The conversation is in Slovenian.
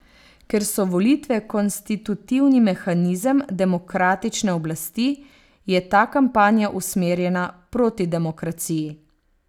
Ker so volitve konstitutivni mehanizem demokratične oblasti, je ta kampanja usmerjena proti demokraciji.